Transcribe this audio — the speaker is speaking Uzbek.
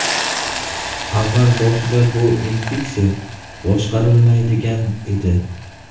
Avval boshida bu infeksiya boshqarilmaydigan edi.